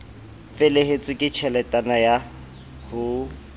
felehetswe ke tjheletana ya ho